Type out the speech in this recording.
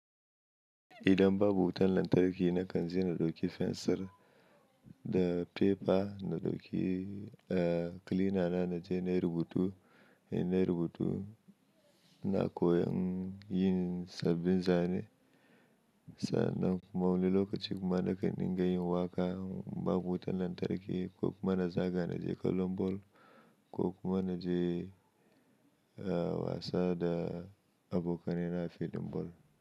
Idan babu wutan lantarki na kan je na ɗauki fensir da fefa, na ɗauki, eh, kilina na, na je na yi rubutu. In na yi rubutu, ina koyon yin sabbin zane. Sa'annan kuma wani lokaci kuma na kan dinga yin waƙa babu wutan lantarki ko kuma na za ga na je kallon ball ko kuma na je, eh, wasa da abokanai na a filin ball.